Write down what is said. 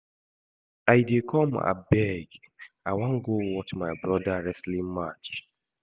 I dey come abeg. I wan go watch my broda wrestling match